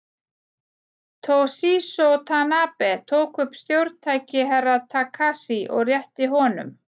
Toshizo Tanabe tók upp stjórntæki Herra Takashi og rétti honum.